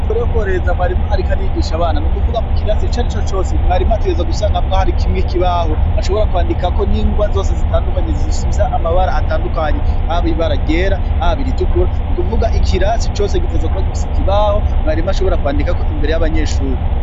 Imbere yo kuhoreheza mwarimu, ariko arigisha abana ni ukuvuga mu kirasi ica ari co cose mwarimu ategeza gusanga amwo hari kimwe kibaho ashobora kwandika ko n'ingwa zose zitandukanyi zishivsa amabara atandukanye abo ibara gera ahbo boiritukura ni ukuvuga ikirasi cose giteza kubagivisa ikibaho mwarimu ashobora kwandikako imbere y'abanyeshuri.